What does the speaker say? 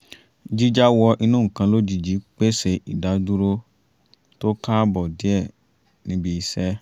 jíjá wọ inú nǹkan lójijì pèsè ìdádúró tó káàbọ̀ díẹ̀ níbi iṣẹ́